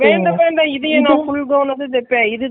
வேண்டாம், வேண்டாம் இதையே நான் full gown ஆ தைக்குறேன், இதுக்கு.